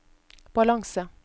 balanse